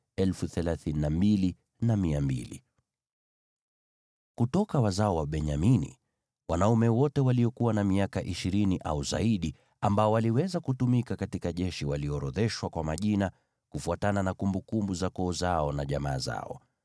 Kutoka wazao wa Benyamini: Wanaume wote waliokuwa na miaka ishirini au zaidi ambao waliweza kutumika katika jeshi waliorodheshwa kwa majina, kufuatana na kumbukumbu za koo zao na jamaa zao.